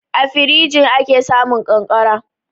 A firinji ake samun ƙanƙara.